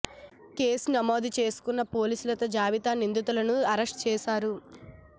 case నమోదు చేసుకున్న పోలీసులుత తాజాగా నిందితులను అరెస్ట్ చేశారు